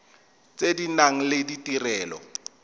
tse di nang le ditirelo